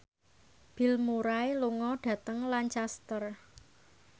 Bill Murray lunga dhateng Lancaster